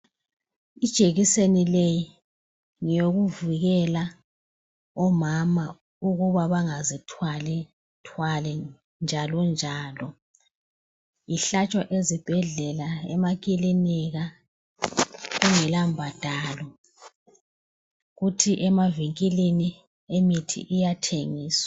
Ijekiseni le ngeyokuvikela omama ukuba bengazithwali thwali njalo njalo ihlatshwa ezibhedlela emakilinika kungela mbadalo kuthi emavinkilini imithi iyathengiswa